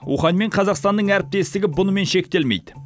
ухань мен қазақстанның әріптестігі бұнымен шектелмейді